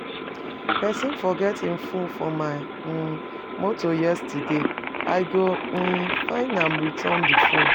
Pesin forget im fono for my um motor yesterday, I go um find am return di fone.